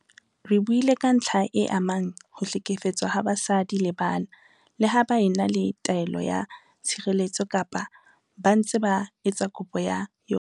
Re buile ka ntlha e amang ho hlekefetswa ha basadi le bana leha ba e na le taelo ya tshireletso kapa ba ntse ba etsa kopo ya yona.